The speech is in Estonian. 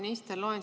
Hea minister!